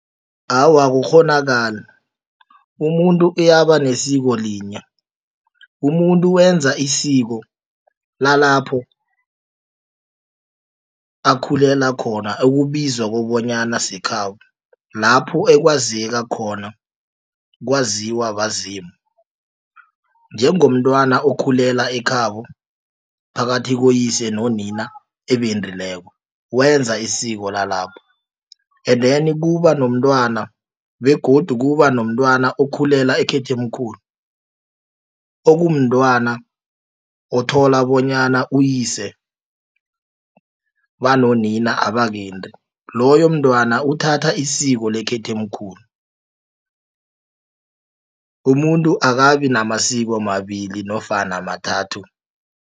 Awa akukghonakali umuntu uyaba nesiko linye umuntu wenza isiko lalapho akhulela khona ekubizwa kobonyana sekhabo lapho ekwazeka khona kwaziwa bazimu. Njengomntwana okhulula ekhabo phakathi koyise nonina ebendileko wenza isiko lalapha. And then kuba nomntwana begodu kuba nomntwana okhululela ekhethemkhulu okumntwana othola bonyana uyise banonina abakendi loyo mntwana uthatha isiko lekhethemkhulu umuntu akabi namasiko amabili nofana amathathu.